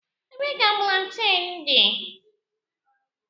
Ebee ka plantain dị?